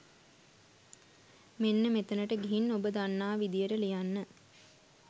මෙන්න මෙතනට ගිහින් ඔබ දන්නා විදියට ලියන්න.